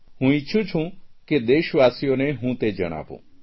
હું ઇચ્છું કે દેશવાસીઓ હું તે જણાવું